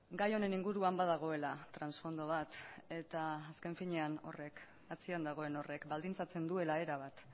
gai honen inguruan badagoela transfondo bat eta azken finean horrek atzean dagoen horrek baldintzatzen duela erabat